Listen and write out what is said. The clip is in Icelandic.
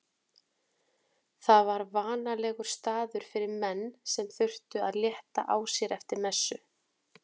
Það var vanalegur staður fyrir menn sem þurftu að létta á sér eftir messu.